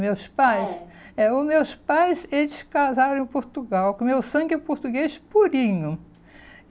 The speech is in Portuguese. Meus pais? É. É, os meus pais eles casaram em Portugal, o meu sangue é português purinho.